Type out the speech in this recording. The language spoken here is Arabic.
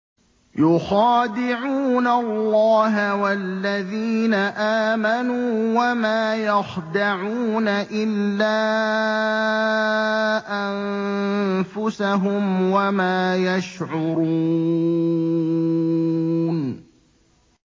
يُخَادِعُونَ اللَّهَ وَالَّذِينَ آمَنُوا وَمَا يَخْدَعُونَ إِلَّا أَنفُسَهُمْ وَمَا يَشْعُرُونَ